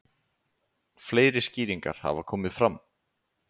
Fleiri skýringar hafa komið fram.